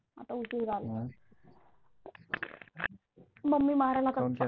आता उशीर झाला मम्मी मारेल